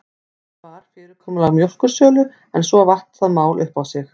Tilefnið var fyrirkomulag mjólkursölu en svo vatt það mál upp á sig.